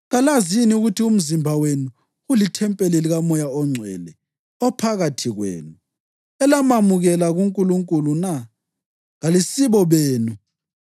Kalazi yini ukuthi umzimba wenu ulithempeli likaMoya oNgcwele, ophakathi kwenu, elamamukela kuNkulunkulu na? Kalisibo benu,